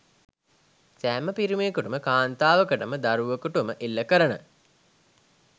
සෑම පිරිමියකුටම කාන්තාවකටම දරුවකුටම එල්ල කරන